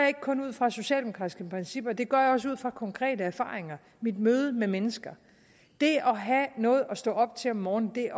ikke kun ud fra socialdemokratiske principper det gør jeg også ud fra konkrete erfaringer mit møde med mennesker det at have noget at stå op til om morgenen det